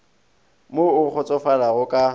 mo o kgotsofalago o ka